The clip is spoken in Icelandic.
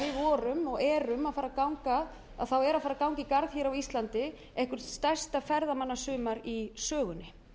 vorum og erum að fara að ganga þá er að fara að ganga í garð hér á ísland eitthvert stærsta ferðamannasumar í sögunni